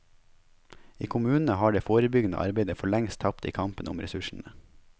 I kommunene har det forebyggende arbeidet forlengst tapt i kampen om ressursene.